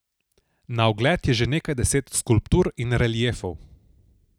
Na ogled je že nekaj deset skulptur in reliefov.